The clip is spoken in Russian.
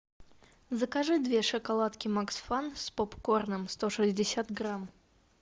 закажи две шоколадки макс фан с попкорном сто шестьдесят грамм